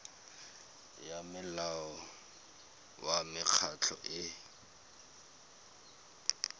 ya molao wa mekgatlho e